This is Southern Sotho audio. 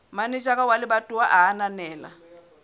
manejara wa lebatowa a ananela